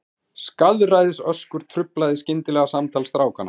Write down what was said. Skaðræðisöskur truflaði skyndilega samtal strákanna.